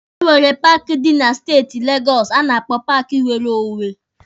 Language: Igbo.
E nwere paaki dị na steeti Legọsụ a na-akpọ paaki nwere onwe.